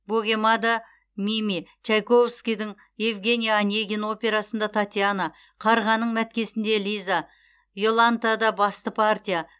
богемада мими чайковскийдің евгений онегин операсында татьяна қарғаның мәткесінде лиза иолантада басты партия